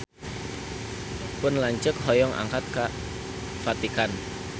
Pun lanceuk hoyong angkat ka Vatikan